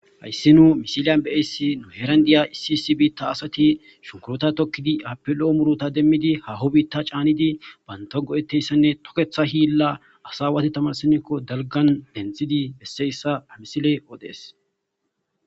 hayssi nuu misiliyan be'iyayssi nu heran de'iya issi issi biitta asati shunkurutta tokkidi appe lo'o murutta demiidi hahoo biita canidi banta go'ettiyayssanne tokeeththa hilla assa awati tamarsinikko dalggan denththidi bessiyayssa ha misiley odees